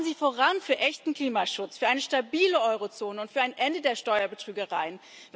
Schreiten Sie voran für echten Klimaschutz, für eine stabile Eurozone und für ein Ende der Steuerbetrügereien.